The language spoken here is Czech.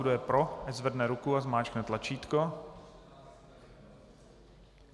Kdo je pro, ať zvedne ruku a zmáčkne tlačítko.